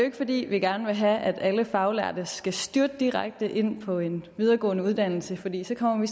ikke fordi vi gerne vil have at alle faglærte skal styrte direkte ind på en videregående uddannelse fordi så kommer vi